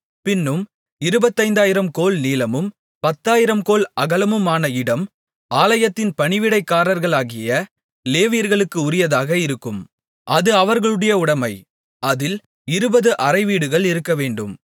பின்னும் இருபத்தைந்தாயிரம் கோல் நீளமும் பத்தாயிரம் கோல் அகலமுமான இடம் ஆலயத்தின் பணிவிடைக்காரர்களாகிய லேவியர்களுக்கு உரியதாக இருக்கும் அது அவர்களுடைய உடைமை அதில் இருபது அறைவீடுகள் இருக்கவேண்டும்